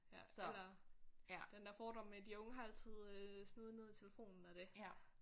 Ja eller den der fordom med de unge har altid øh snuden nede i telefonen og det